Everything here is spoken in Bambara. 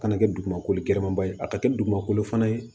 Kana kɛ dugumakolo gɛlɛman ba ye a ka kɛ dugumakolo fana ye